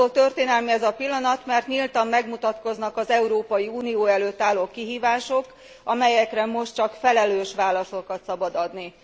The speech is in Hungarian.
Attól történelmi ez a pillanat, mert nyíltan megmutatkoznak az Európai Unió előtt álló kihívások, amelyekre most csak felelős válaszokat szabad adni.